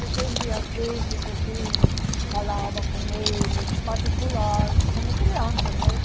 E a gente, às vezes, assim, falava com eles, particular, como criança, né?